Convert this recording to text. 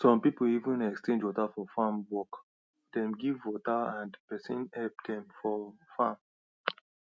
some people even exchange water for farm work dem give water and person help dem for farm